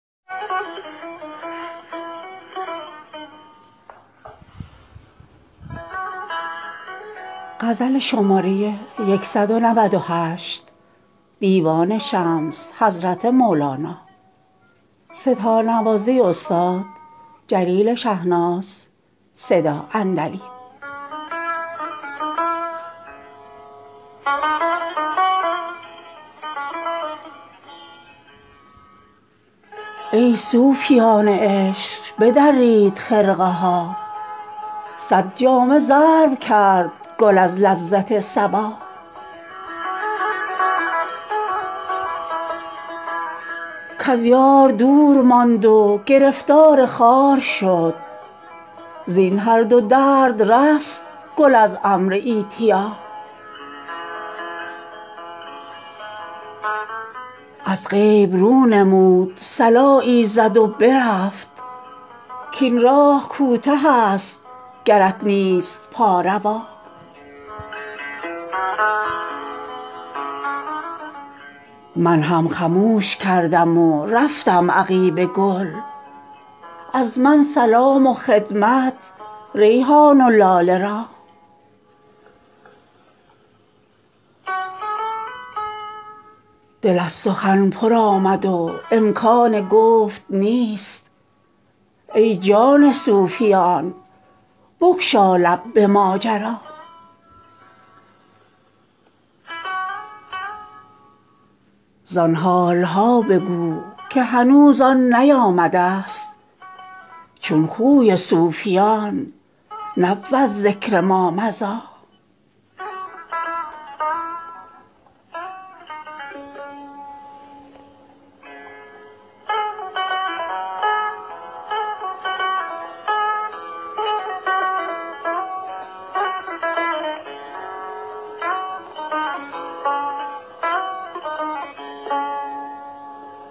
ای صوفیان عشق بدرید خرقه ها صد جامه ضرب کرد گل از لذت صبا کز یار دور ماند و گرفتار خار شد زین هر دو درد رست گل از امر ایتیا از غیب رو نمود صلایی زد و برفت کاین راه کوتهست گرت نیست پا روا من هم خموش کردم و رفتم عقیب گل از من سلام و خدمت ریحان و لاله را دل از سخن پر آمد و امکان گفت نیست ای جان صوفیان بگشا لب به ماجرا زان حال ها بگو که هنوز آن نیامده ست چون خوی صوفیان نبود ذکر مامضی